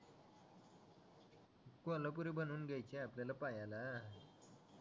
कोल्हापुरी बनवून घ्यायचे आपल्याला पायाला